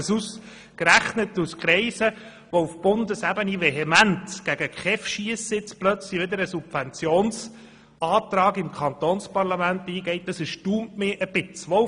Dass nun ausgerechnet aus Kreisen, die auf Bundesebene vehement gegen die KEV schiessen, jetzt plötzlich eine Subventionsforderung beim kantonalen Parlament eingereicht wird, erstaunt mich ein wenig.